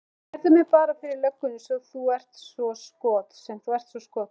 Kærðu mig bara fyrir löggunni sem þú ert svo skot